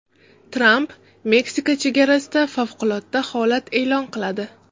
Tramp Meksika chegarasida favqulodda holat e’lon qiladi.